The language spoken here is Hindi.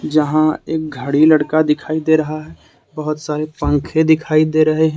जहां एक घड़ी लड़का दिखाई दे रहा है बहोत सारे पंखे दिखाई दे रहे हैं।